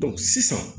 sisan